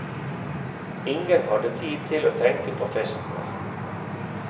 Ingen hadde tid til å tenke på fest mer.